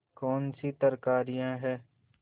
कौनसी तरकारियॉँ हैं